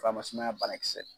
Faramasi n'a banakisɛ.